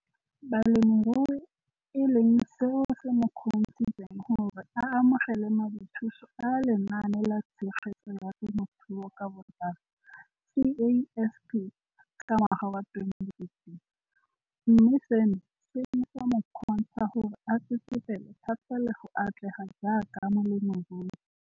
Balemirui e leng seo se mo kgontshitseng gore a amogele madithuso a Lenaane la Tshegetso ya Te mothuo ka Botlalo CASP ka ngwaga wa 2015, mme seno se ne sa mo kgontsha gore a tsetsepele thata le go atlega jaaka molemirui.